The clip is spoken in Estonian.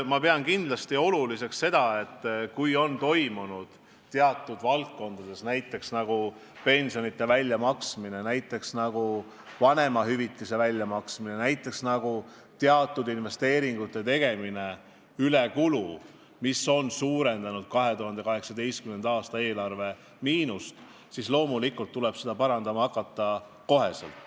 Ma pean kindlasti oluliseks, et kui teatud valdkondades – näiteks pensionide väljamaksmine, näiteks vanemahüvitise väljamaksmine, näiteks teatud investeeringute tegemine – on ülekulu, mis on suurendanud 2018. aasta eelarve miinust, siis loomulikult tuleb seda parandama hakata kohe.